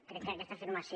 crec que aquesta afirmació